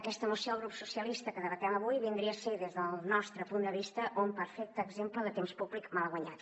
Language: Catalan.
aquesta moció del grup socialistes que debatem avui vindria a ser des del nostre punt de vista un perfecte exemple de temps públic malaguanyat